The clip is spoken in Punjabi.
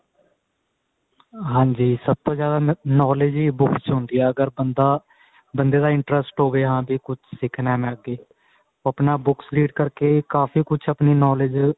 ਹਾਂਜੀ ਸਭ ਤੋਂ ਜਿਆਦਾ knowledge ਹੀ books ਹੁੰਦੀ ਏ ਅਗਰ ਬੰਦਾ ਬੰਦੇ ਦਾ interest ਹੋਵੇ ਹਾਂ ਵੀ ਕੁੱਝ ਸਿਖਣਾ ਮੈਂ ਅੱਗੇ ਉਹ ਆਪਣਾ books read ਕਰ ਕੇ ਕਾਫੀ ਕੁੱਝ ਆਪਣੀ knowledge